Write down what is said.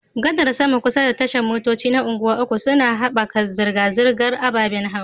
Gadar saman kusa da tashar motoci na Unguwa uku suna haɓaka zirga-zirgar ababen hawa